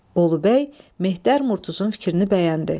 Bolubəy Mehter Murtuzun fikrini bəyəndi.